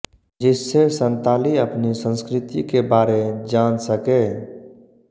जिससे संताली अपनी सस्कृति के बारे जान सके